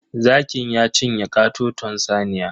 Zakin ya cinye katoton saniya.